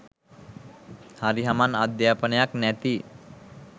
හරි හමන් අධ්‍යාපනයක් නැති